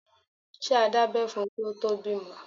Ṣé a dábẹ́ fún un kí o tó bímọ.